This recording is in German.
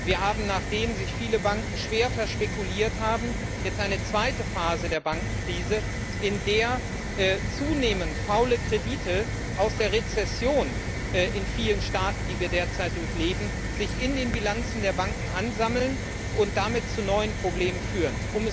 Wir haben, nachdem sich viele Banken schwer verspekuliert haben, jetzt eine zweite Phase der Bankenkrise, in der sich zunehmend faule Kredite aus der Rezession in vielen Staaten, die wir derzeit durchleben, in den Bilanzen der Banken ansammeln und damit zu neuen Problemen führen.